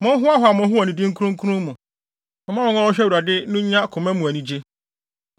Monhoahoa mo ho wɔ ne din kronkron mu; momma wɔn a wɔhwehwɛ Awurade no nnya koma mu anigye.